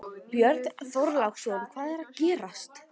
Björn Þorláksson: Hvað er að gerast?